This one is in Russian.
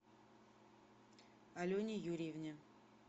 алене юрьевне